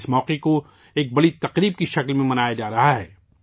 اس موقع کو ایک بڑے تہوار کے طور پر منایا جا رہا ہے